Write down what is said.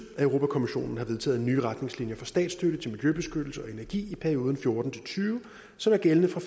at europa kommissionen har vedtaget nye retningslinjer for statsstøtte til miljøbeskyttelse og energi i perioden fjorten til tyve som er gældende fra